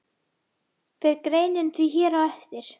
Fer greinin því hér á eftir.